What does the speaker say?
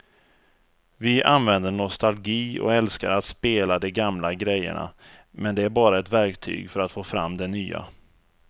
Vi använder nostalgi och älskar att spela de gamla grejerna men det är bara ett verktyg för att få fram det nya.